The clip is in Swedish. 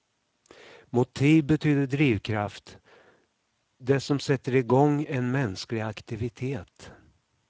Motiv betyder drivkraft, det som sätter igång en mänsklig aktivitet.